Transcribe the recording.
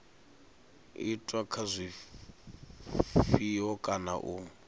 itwa kha zwifhato kana u